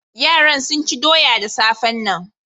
Yaran sun ci doya da safan nan.